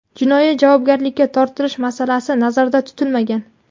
jinoiy javobgarlikka tortilish masalasi nazarda tutilmagan.